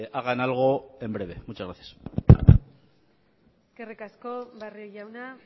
hagan algo en breve muchas gracias eskerrik asko barrio jauna